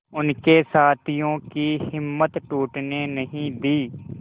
उनके साथियों की हिम्मत टूटने नहीं दी